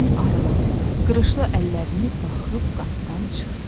Arvadın arıq, qırışlı əllərini buraxıb qapıdan çıxdı.